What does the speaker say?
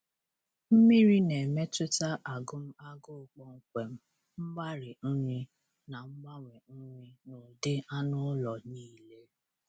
Mmiri na-emetụta agụm agụụ kpọmkwem, mgbari nri, na ngbanwe nri n'ụdị anụ ụlọ niile.